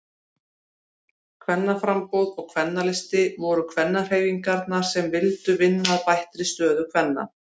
Kvennaframboð og Kvennalisti voru kvennahreyfingar sem vildu vinna að bættri stöðu kvenna.